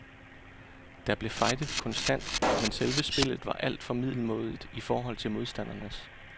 Der blev fightet konstant, men selve spillet var alt for middelmådigt i forhold til modstandernes.